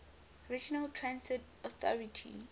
regional transit authority